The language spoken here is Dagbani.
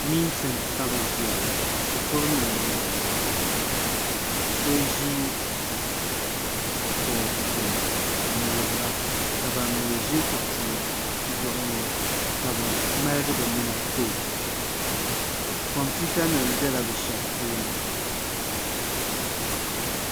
mintin ka bɛ ʒiya ŋɔ shikuru ni yɛn m-bala so ʒi boori gbubi n-wuhira ka bam mi ʒi kuɣisi zuɣu ŋɔ ka bɛ ŋmaligi bɛ nina kpa o kompiutanima bela bɛ shɛba tooni